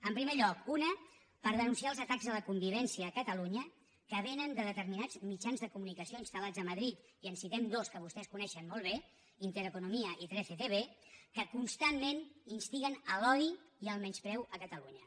en primer lloc una per denunciar els atacs a la convivència a catalunya que vénen de determinats mitjans de comunicació instal·molt bé intereconomía i 13tv que constantment instiguen a l’odi i el menyspreu a catalunya